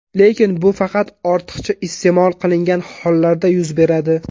Lekin bu faqat ortiqcha iste’mol qilingan hollarda yuz beradi.